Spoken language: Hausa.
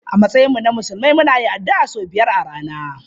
A matsayinmu na musulmi muna yin addu'a sau biyar a rana.